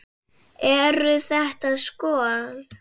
Eru þetta skot.